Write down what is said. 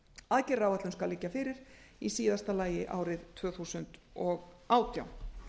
aðgerðaráætlun skal liggja fyrir í síðast álagi árið tvö þúsund og átján